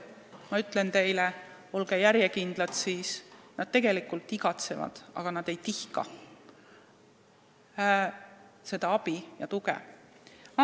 Ma ütlen teile: olge järjekindlad, nad tegelikult igatsevad abi, aga nad ei tihka seda abi ja tuge küsida.